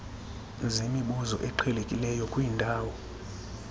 zemibuzo eqhelekileyo kwiindawo